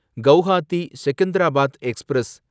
Guwahati Secunderabad express